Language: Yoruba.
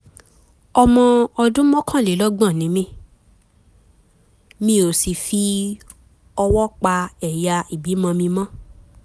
ọmọ ọdún mọ́kànlélọ́gbọ̀n [31] ni mí mi ò sì fi ọwọ́ pa ẹ̀yà ìbímọ mi mọ́